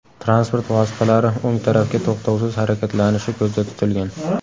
Transport vositalari o‘ng tarafga to‘xtovsiz harakatlanishi ko‘zda tutilgan.